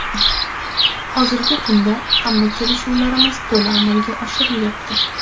Hozirgi kunda hamma kelishuvlarimiz to‘la amalga oshirilyapti.